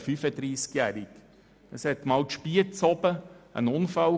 In Spiez kam es einmal zu einem Unfall.